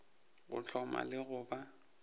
go hloma le go ba